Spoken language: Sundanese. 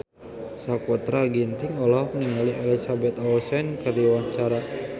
Sakutra Ginting olohok ningali Elizabeth Olsen keur diwawancara